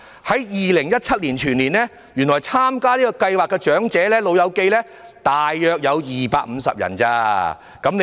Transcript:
在2017年，原來參加這項計劃的長者全年只有約250人而已。